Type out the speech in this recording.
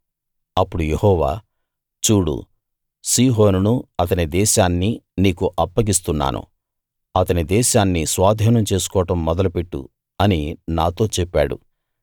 అప్పుడు యెహోవా చూడు సీహోనును అతని దేశాన్ని నీకు అప్పగిస్తున్నాను అతని దేశాన్ని స్వాధీనం చేసుకోవడం మొదలు పెట్టు అని నాతో చెప్పాడు